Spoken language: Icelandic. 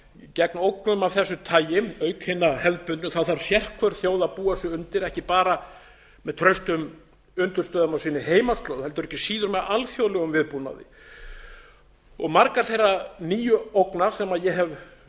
gegn ógnum af þessu tagi auk hinna hefðbundnu þarf sérhver þjóð að búa sig undir ekki bara með traustum undirstöðum á sinni heimaslóð heldur ekki síður með alþjóðlegum viðbúnaði margar þeirra nýju ógna sem ég hef